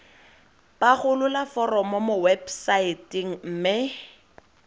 pagolola foromo mo websaeteng mme